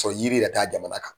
yiri yɛrɛ t'a jamana kan.